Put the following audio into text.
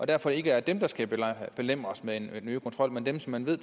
derfor ikke er dem der skal belemres med nye kontroller men dem som man ved